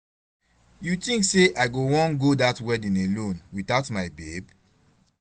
You think say I go wan go that wedding alone without my babe?